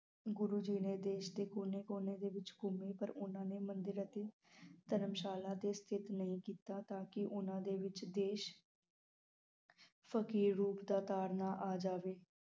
ਗੁਰੂ ਜੀ ਨੇ ਦੇਸ਼ ਦੇ ਵਿਤ ਕੋਨੇ ਕੋਨੇ ਦੇ ਵਿਚ ਘੁੰਮੇ ਪਰ ਉਨ੍ਹਾਂ ਨੇ ਮੰਦਿਰ ਅਤੇ ਧਰਮਸ਼ਾਲਾ ਦੇ ਸਥਿਤ ਨਹੀ ਕੀਤਾ ਤਾਂ ਕਿ ਉਨ੍ਹਾਂ ਦੇ ਵਿਚ ਦੇਸ਼ ਫਕੀਰ ਰੂਪ ਦਾ ਨਾ ਆ ਜਾਵੇ